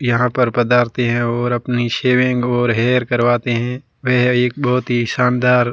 यहां पर पदार्थ है और अपनी शेविंग और हेयर करवाते हैं वह एक बहुत ही शानदार--